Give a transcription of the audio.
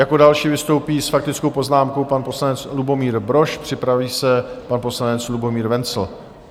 Jako další vystoupí s faktickou poznámkou pan poslanec Lubomír Brož, připraví se pan poslanec Lubomír Wenzl.